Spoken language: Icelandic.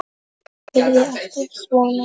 Yrði alltaf svona.